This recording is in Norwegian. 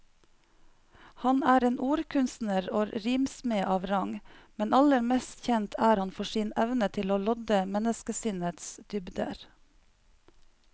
Han er en ordkunstner og rimsmed av rang, men aller mest kjent er han for sin evne til å lodde menneskesinnets dybder.